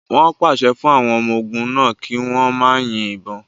Wọn pase fun awọn ọmọ ogun náa ki wọn ma yin ibon